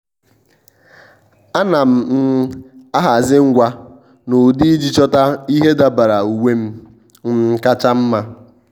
à nà m um ahazị ngwa n’ụ́dị́ iji chọ́ta ìhè dabara uwe m um kacha mma.